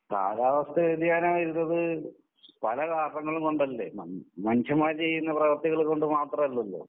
കാലാവസ്ഥ വ്യതിയാനം വരുന്നത് പല കാരണങ്ങൾ കൊണ്ടല്ലേ? മ് മനുഷ്യന്മാരെ ചെയ്യുന്ന പ്രവൃത്തികൊണ്ട് മാത്രമല്ലല്ലോ?